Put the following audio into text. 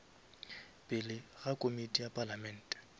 pele ga komiti ya palamente